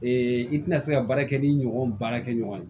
i tina se ka baara kɛ ni ɲɔgɔn baara kɛ ɲɔgɔn ye